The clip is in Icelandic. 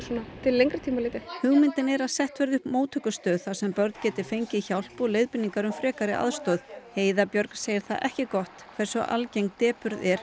hugmyndin er að sett verði upp móttökustöð þar sem börn geti fengið hjálp og leiðbeiningar um frekari aðstoð heiða Björg segir það ekki gott hversu algeng depurð er